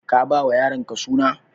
Ka ba wa yaronka suna?